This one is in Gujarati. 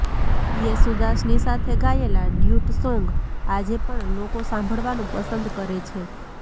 યેસુદાસની સાથે ગાયેલા ડ્યુટ સોન્ગ આજે પણ લોકો સાંભળવાનું પસંદ કરે છે